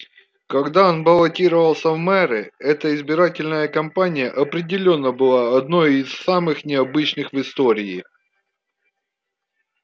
когда он баллотировался в мэры эта избирательная кампания определённо была одной из самых необычных в истории